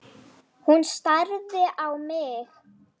Hún starði á mig.